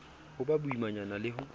ho ba boimanyana ho le